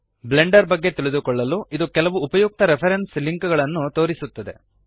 Blender ಬಗ್ಗೆ ತಿಳಿದುಕೊಳ್ಳಲು ಇದು ಕೆಲವು ಉಪಯುಕ್ತ ರೆಫರೆನ್ಸ್ ಲಿಂಕ್ಸ್ ಗಳನ್ನು ತೋರಿಸುತ್ತದೆ